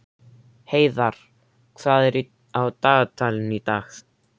Heiðarr, hvað er á dagatalinu í dag?